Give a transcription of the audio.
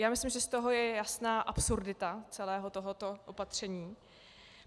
Já myslím, že z toho je jasná absurdita celého tohoto opatření.